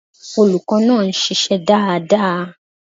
Olùkó náà nsisé dáadáa